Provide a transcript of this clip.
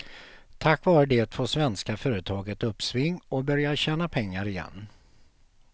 Tack vare det får svenska företag ett uppsving och börjar tjäna pengar igen.